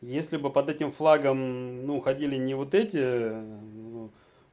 если бы под этим флагом ну ходили не вот эти ну